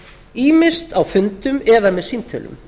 ýmist á fundum eða með símtölum